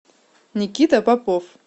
никита попов